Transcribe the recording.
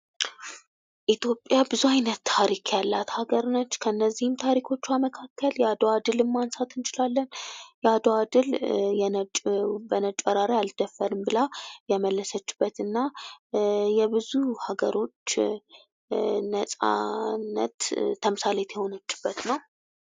ኢትዮጵያ ብዙ አይነት ታሪክ ያላት አገር ናት። ከእዚህም ታሪኮቿ መካከል የአድዋን ድልን ማንሳት እንችላለን። የአድዋ ድል ለነጭ ወራሪ አልደፈርም ብላ የመለሰችበት እና ለብዙ አገሮች የነፃነት ተምሳሌት የሆነችበት ነዉ።